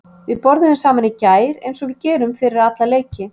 Við borðuðum saman í gær eins og við gerum fyrir alla leiki.